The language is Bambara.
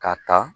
K'a ta